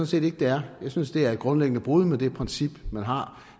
set ikke det er jeg synes det er et grundlæggende brud med det princip man har